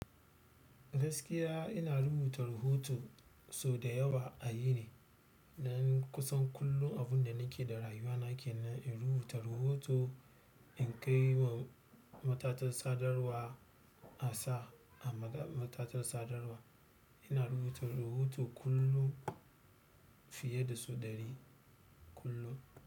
Gaskiya ina rubuta rahoto sau da yawa a yini. Nan kusan kullum abin da nake da rayuwa nake nan, in rubuta rahoto in kai wa matatar sadarwa a sa a matatar sadarwa. Ina rubuta rahoto kullum fiye da sau ɗari kullum.